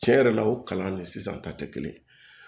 Cɛn yɛrɛ la o kalan de sisan ta tɛ kelen ye